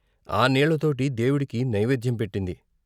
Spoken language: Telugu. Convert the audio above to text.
ఆ నీళ్ళతోటి దేవుడికి నైవేద్యం పెట్టింది.